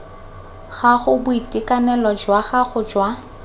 gago boitekanelo jwa gago jwa